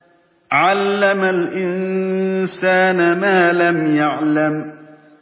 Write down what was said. عَلَّمَ الْإِنسَانَ مَا لَمْ يَعْلَمْ